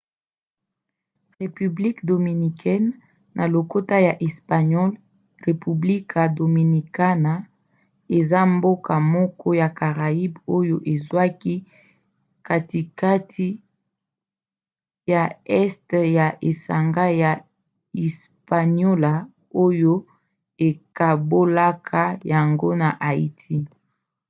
république dominicaine na lokota ya espagnol: república dominicana eza mboka moko ya caraïbes oyo ezwaki katikati ya este ya esanga ya hispaniola oyo ekabolaka yango na haïti